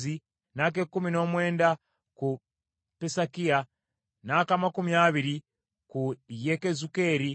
n’ak’ekkumi n’omwenda ku Pesakiya, n’ak’amakumi abiri ku Yekezukeri,